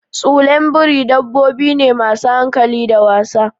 Tsulain biri dabbobi ne masu hankali da wasa.